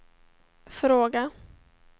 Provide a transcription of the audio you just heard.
fråga